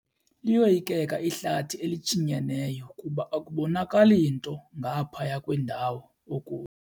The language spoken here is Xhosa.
Liyoyikeka ihlathi elishinyeneyo kuba akuboni nto ngaphaya kwendawo okuyo.